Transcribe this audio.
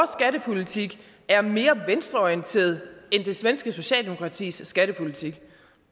skattepolitik er mere venstreorienteret end det svenske socialdemokratis skattepolitik